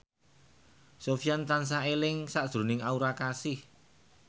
Sofyan tansah eling sakjroning Aura Kasih